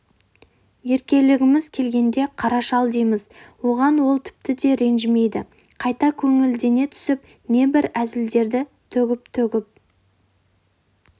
еркелегіміз келгенде қара шал дейміз оған ол тіпті де ренжімейді қайта көңілдене түсіп небір әзілдерді төгіп-төгіп